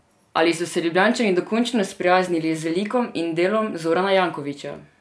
Ali so se Ljubljančani dokončno sprijaznili z likom in delom Zorana Jankovića?